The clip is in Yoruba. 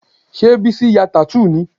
Ṣé Bísí ya tattoo ni?